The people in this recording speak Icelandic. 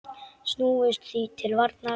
Snúumst því til varnar!